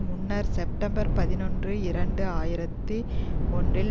முன்னர் செப்டம்பர் பதினொன்று இரண்டு ஆயிரத்தி ஒன்றில்